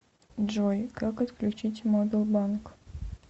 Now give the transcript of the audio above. джой как отключить мобил банк